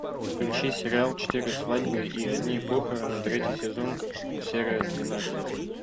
включи сериал четыре свадьбы и одни похороны третий сезон серия двенадцать